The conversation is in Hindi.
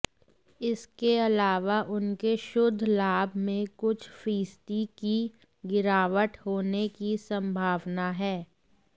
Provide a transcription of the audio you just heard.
इसकेअलावा उनके शुद्ध लाभ में कुछ फीसद की गिरावट होने की संभावना है